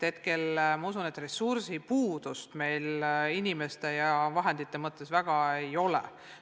Ma usun, et ressursipuudust meil praegu inimeste ja vahendite mõttes väga ei ole.